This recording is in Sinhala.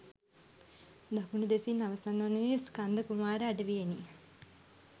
දකුණු දෙසින් අවසන් වනුයේ ස්කන්ධ කුමාර අඩවියෙනි